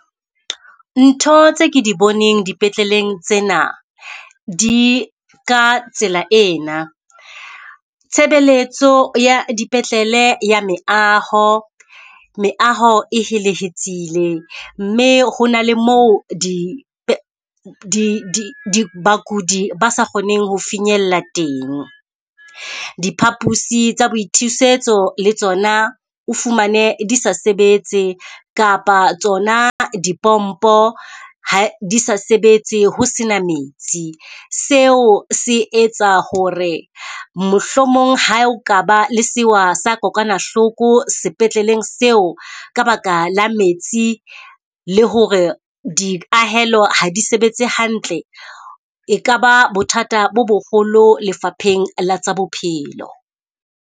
Ntho tse ke di boneng dipetleleng tsena di ka tsela ena. Tshebeletso ya dipetlele ya meaho, meaho e helehetsile mme ho na le moo di di di di bakudi ba sa kgoneng ho finyella teng. Diphapusi tsa boithusetso le tsona o fumane di sa sebetse kapa tsona dipompo ha di sa sebetse, ho sena metsi. Seo se etsa ho re mohlomong ha o kaba le sewa sa kokwanahloko sepetleleng seo ka baka la metsi, le ho re di ahelo ha di sebetse hantle. E kaba bothata bo boholo lefapheng la tsa bophelo.